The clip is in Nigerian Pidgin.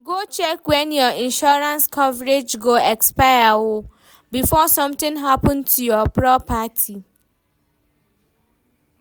go check when your insurance coverage go expire o, before sometin happen to your property